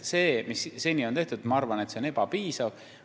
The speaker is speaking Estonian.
See, mis seni on tehtud, ma arvan, on ebapiisav.